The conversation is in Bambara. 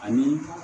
Ani